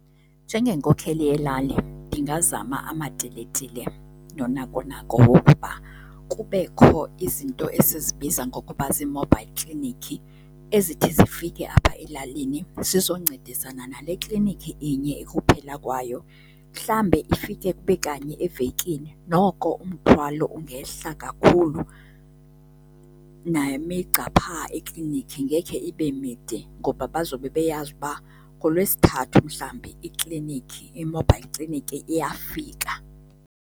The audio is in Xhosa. Njengenkokheli yelali ndingazama amatiletile noonakonako wokuba kubekho izinto esibiza ngokuba zii-mobile clinic ezithi zifike apha elalini zizoncedisana nale klinikhi inye ekuphela kwayo. Mhlambe ifike kube kanye evekini noko umthwalo ungehla kakhulu nemigca phaa eklinikhi ngekhe ibe mide ngoba bazobe beyazi uba ngoLwesithathu mhlawumbi iklinikhi, i-mobile clinic iyafika.